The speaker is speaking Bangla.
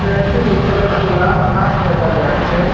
ট্রেনটির উপরে খোলা আকাশ দেখা যাচ্ছে।